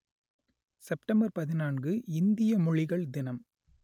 September பதினான்கு இந்திய மொழிகள் தினம்